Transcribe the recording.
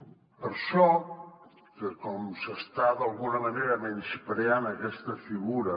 per això com que s’està d’alguna manera menyspreant aquesta figura